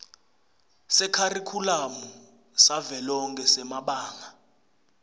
sekharikhulamu savelonkhe semabanga